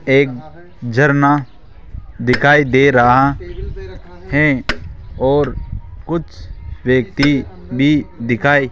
एक झरना दिखाई दे रहा है और कुछ व्यक्ति भी दिखाई --